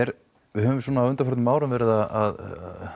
við höfum svona á undanförnum árum verið að